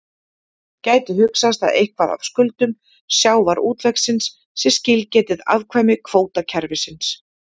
Gæti hugsast að eitthvað af skuldum sjávarútvegsins sé skilgetið afkvæmi kvótakerfisins?